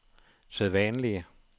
sædvanlige